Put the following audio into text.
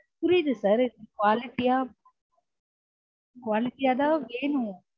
புரியுது sir quality யா quality யா quality யாதான் வேணும்